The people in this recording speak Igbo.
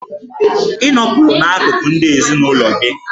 Ị nọpụrụ n'akụkụ ndị ezinụlọ gị!